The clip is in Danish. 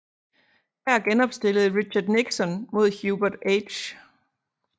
Her genopstillede Richard Nixon mod Hubert H